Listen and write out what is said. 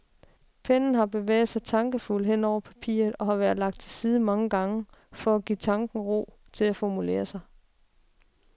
Pennen har bevæget sig tankefuldt hen over papiret og har været lagt til side mange gange, for at give tanken ro til at formulere sig.